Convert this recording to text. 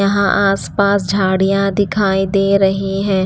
यहाँ आसपास झाड़ियां दिखाई दे रही हैं।